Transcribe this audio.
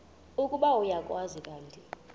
ukuba uyakwazi kanti